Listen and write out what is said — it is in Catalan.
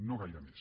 no gaire més